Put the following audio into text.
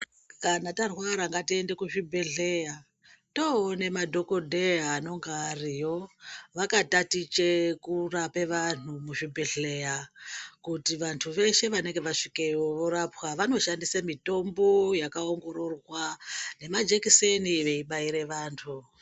Kana tarwara ngatiende kuzvibhadhlera toone madhokodheya anonga ariyo vakatachite kurapa vanhu muzvibhedhlera kuti vantu veshe vanenge vasvikeyo vorapwa. Vanoshandise mitombo yakaongororwa nemajekiseni veibaire vanhu.